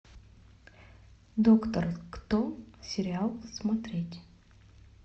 доктор кто сериал смотреть